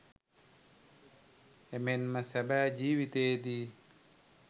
එමෙන්ම සැබෑ ජිවිතයේදී